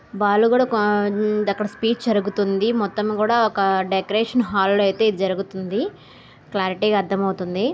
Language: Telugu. వాళ్లు కూడా ఒక ఆ అక్కడ స్పీచ్ జరుగుతుంది. మొత్తం కూడా ఒక డెకరేషన్ హాల్లో అయితే జరుగుతుంది. క్లారిటీ గా అర్థమవుతుంది.